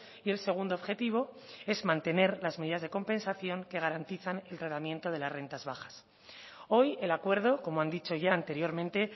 y el segundo objetivo es mantener las medidas de compensación que garantizan el tratamiento de las rentas bajas hoy el acuerdo como han dicho ya anteriormente